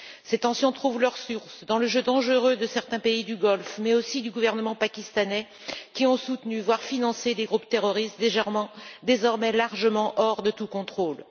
Ces tensions trouvent leur source dans le jeu dangereux de certains pays du Golfe, mais aussi du gouvernement pakistanais, qui ont soutenu, voire financé des groupes terroristes qui échappent désormais largement à tout contrôle.